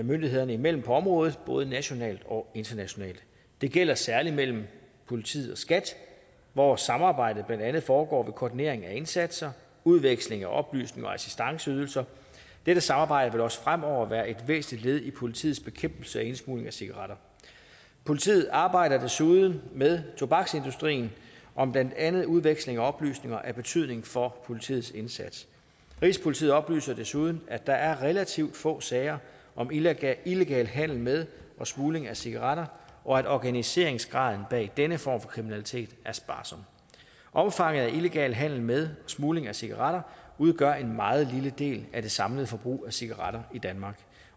myndighederne imellem på området både nationalt og internationalt det gælder særlig mellem politiet og skat hvor samarbejdet blandt andet foregår ved koordinering af indsatser udveksling af oplysninger og assistanceydelser dette samarbejde vil også fremover være et væsentligt led i politiets bekæmpelse af indsmugling af cigaretter politiet arbejder desuden med tobaksindustrien om blandt andet udveksling af oplysninger af betydning for politiets indsats rigspolitiet oplyser desuden at der er relativt få sager om illegal illegal handel med og smugling af cigaretter og at organiseringsgraden bag denne form for kriminalitet er sparsom omfanget af illegal handel med og smugling af cigaretter udgør en meget lille del af det samlede forbrug af cigaretter i danmark